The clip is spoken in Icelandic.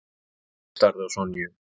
Tóti starði á Sonju.